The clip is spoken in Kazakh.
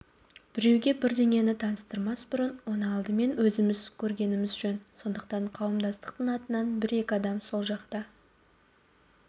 біреуге бірдеңені таныстырмас бұрын оны алдымен өзіміз көргеніміз жөн сондықтан қауымдастық атынан бір-екі адам сол жаққа